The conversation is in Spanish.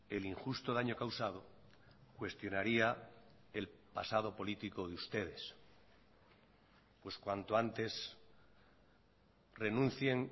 el injusto daño causado cuestionaría el pasado político de ustedes pues cuanto antes renuncien